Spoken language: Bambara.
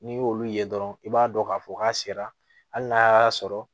N'i y'olu ye dɔrɔn i b'a dɔn k'a fɔ k'a sera hali n'a y'a sɔrɔ